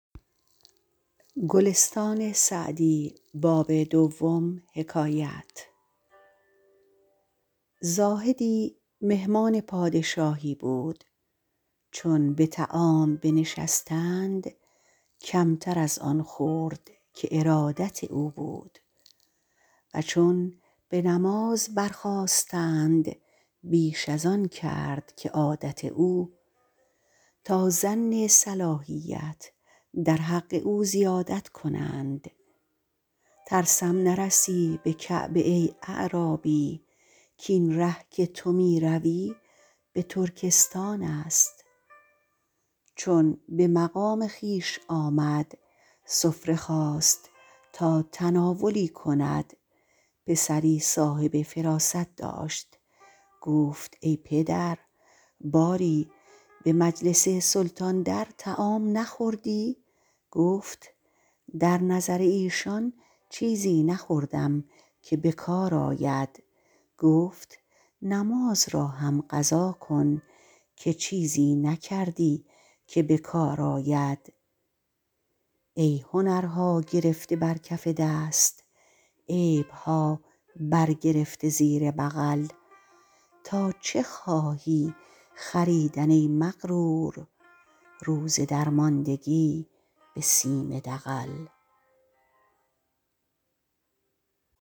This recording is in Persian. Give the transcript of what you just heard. زاهدی مهمان پادشاهی بود چون به طعام بنشستند کمتر از آن خورد که ارادت او بود و چون به نماز برخاستند بیش از آن کرد که عادت او تا ظن صلاحیت در حق او زیادت کنند ترسم نرسی به کعبه ای اعرابی کاین ره که تو می روی به ترکستان است چون به مقام خویش آمد سفره خواست تا تناولی کند پسری صاحب فراست داشت گفت ای پدر باری به مجلس سلطان در طعام نخوردی گفت در نظر ایشان چیزی نخوردم که به کار آید گفت نماز را هم قضا کن که چیزی نکردی که به کار آید ای هنرها گرفته بر کف دست عیبها بر گرفته زیر بغل تا چه خواهی خریدن ای مغرور روز درماندگی به سیم دغل